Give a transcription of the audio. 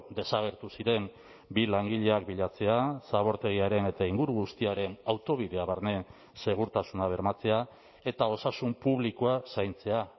desagertu ziren bi langileak bilatzea zabortegiaren eta inguru guztiaren autobidea barne segurtasuna bermatzea eta osasun publikoa zaintzea